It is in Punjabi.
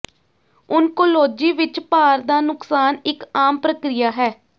ਓਨਕੋਲੋਜੀ ਵਿੱਚ ਭਾਰ ਦਾ ਨੁਕਸਾਨ ਇੱਕ ਆਮ ਪ੍ਰਕਿਰਿਆ ਹੈ